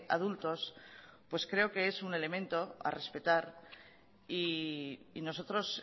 adultos creo que es un elemento a respetar y a nosotros